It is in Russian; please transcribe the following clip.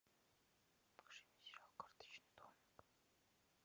покажи мне сериал карточный домик